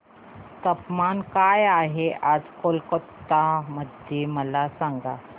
तापमान काय आहे आज कोलकाता मध्ये मला सांगा